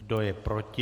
Kdo je proti?